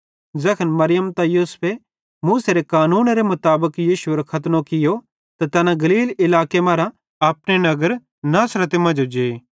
ज़ैखन मरियम ते यूसुफे मूसेरे कानूनेरे मुताबिक यीशुएरो खतनो कियो त तैना गलील इलाके मरां अपने नगर नासरते मांजो जे